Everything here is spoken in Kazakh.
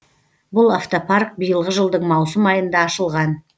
бұл автопарк биылғы жылдың маусым айында ашылған